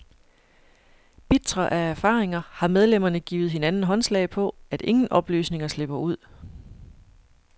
Bitre af erfaringer har medlemmerne givet hinanden håndslag på, at ingen oplysninger slipper ud.